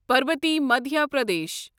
Parbati Madhya Pradesh